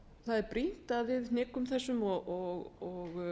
það er brýnt að við hnikum og